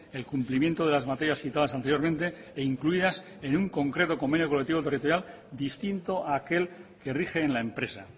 el cumplimiento de las materias citadas anteriormente e incluidas en un concreto convenio colectivo territorial distinto a aquel que rige en la empresa